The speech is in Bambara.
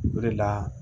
O de la